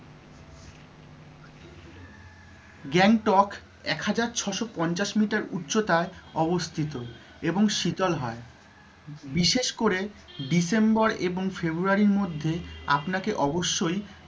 গ্যাংটক এক হাজার ছশো পঞ্চাশ meter উচ্চতায় অবস্থিত এবং শীতল হয়। বিশেষ করে december এবং february রির মধ্যে আপনাকে অবশ্যই,